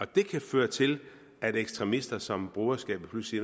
det kan føre til at ekstremister som broderskabet pludselig